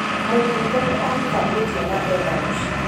Mũmbunge nĩ ahikanĩtie na ena mũciĩ